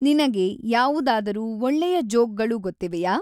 ನಿನಗೆ ಯಾವುದಾದರೂ ಒಳ್ಳೆಯ ಜೋಕ್ಗಳು ಗೊತ್ತಿವೆಯಾ?